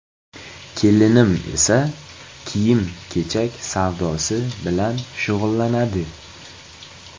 Kelinim esa kiyim-kechak savdosi bilan shug‘ullanadi.